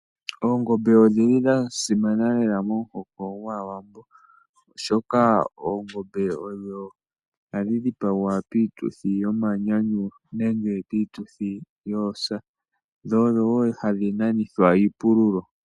Oongombe odhili dhasimana lela mohoko ngwawambo oshoka ongombe odho hadhidhipangwa pituthi yomanyanyu nenge pituthi yosa dho odho wo hadhinanithwa iipululo.